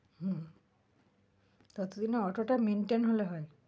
হম ততো দিনে অটোটা maintain হলে হয়,